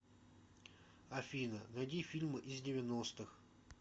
афина найди фильмы из девяностых